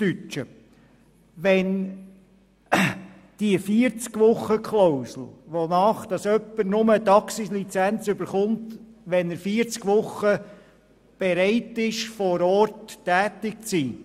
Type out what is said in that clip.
Es bekommt jemand nur eine Taxilizenz, wenn er während 40 Wochen im Jahr bereit ist, vor Ort tätig zu sein.